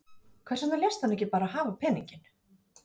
Björn Þorláksson: Hvers vegna léstu hann ekki bara hafa peninginn?